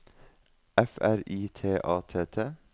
F R I T A T T